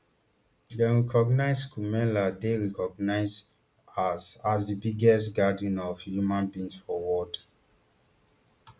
dem recognise kumbh mela dey recognised as as di biggest gathering of human beings for world